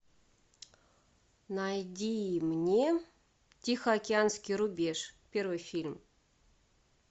найди мне тихоокеанский рубеж первый фильм